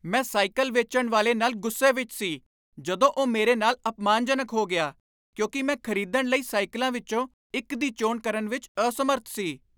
ਮੈਂ ਸਾਈਕਲ ਵੇਚਣ ਵਾਲੇ ਨਾਲ ਗੁੱਸੇ ਵਿੱਚ ਸੀ ਜਦੋਂ ਉਹ ਮੇਰੇ ਨਾਲ ਅਪਮਾਨਜਨਕ ਹੋ ਗਿਆ ਕਿਉਂਕਿ ਮੈਂ ਖਰੀਦਣ ਲਈ ਸਾਈਕਲਾਂ ਵਿੱਚੋਂ ਇੱਕ ਦੀ ਚੋਣ ਕਰਨ ਵਿੱਚ ਅਸਮਰੱਥ ਸੀ।